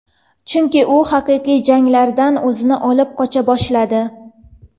Chunki u haqiqiy janglardan o‘zini olib qocha boshladi.